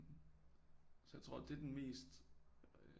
Så jeg tror det er den mest